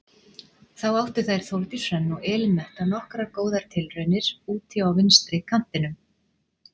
Þá áttu þær Þórdís Hrönn og Elín Metta nokkrar góðar tilraunir úti á vinstri kantinum.